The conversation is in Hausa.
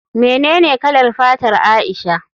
Menene kalar fatar Aisha?